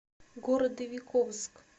городовиковск